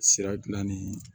Sira gilan ni